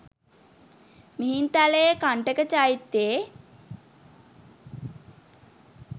මිහින්තලයේ කණ්ඨක චෛත්‍යයේ